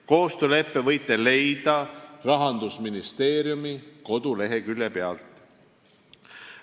Koostööleppe võite leida Rahandusministeeriumi koduleheküljelt.